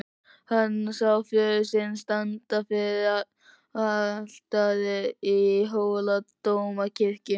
Hann sá föður sinn standa fyrir altari í Hóladómkirkju.